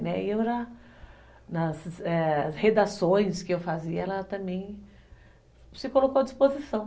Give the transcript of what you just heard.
Né, e eu, nas redações que eu fazia, ela também se colocou à disposição.